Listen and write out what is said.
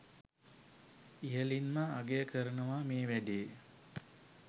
ඉහලින්ම අගය කරනව මේ වැඩේ